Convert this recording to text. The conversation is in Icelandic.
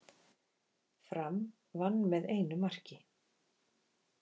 Fram vann með einu marki